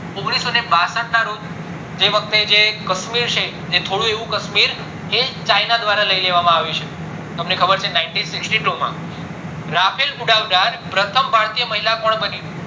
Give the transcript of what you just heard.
ઓગણીસો ને બાસઠ ના રોજ જે વખતે જે કાશ્મીર છે થોડું એવું કાશ્મીર એ ચાયના દ્વારા લય લેવામાં આવ્યું છે તમને ખબર છે નાય્ન્તી સીક્સીતું માં rafale ઉડાવનાર પ્રથમ મહિલા કોણ બની